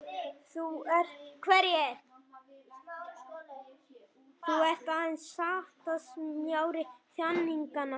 Þú ert aðeins sáttasemjari þjáninganna.